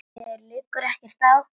Mér liggur ekkert á.